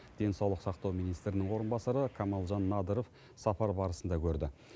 денсаулық сақтау министрінің орынбасары камалжан надыров сапар барысында көрді